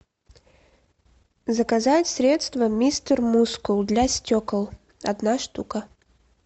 заказать средство мистер мускул для стекол одна штука